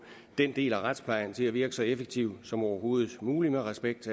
den del af retsplejen til at virke så effektivt som overhovedet muligt med respekt